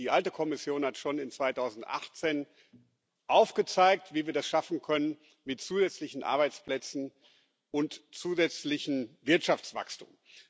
Die alte Kommission hat schon 2018 aufgezeigt, wie wir das schaffen können mit zusätzlichen Arbeitsplätzen und zusätzlichem Wirtschaftswachstum.